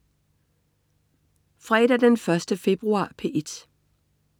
Fredag den 1. februar - P1: